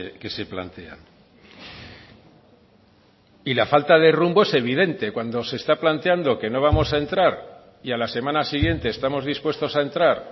que se plantean y la falta de rumbo es evidente cuando se está planteando que no vamos a entrar y a la semana siguiente estamos dispuestos a entrar